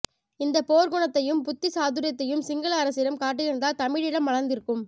இந்த போர்க்குணத்தையும் புத்தி சாதுரியத்தையும் சிங்கள அரசிடம் காட்டியிருந்தால் தமிழீழம் மலர்ந்திருக்கும்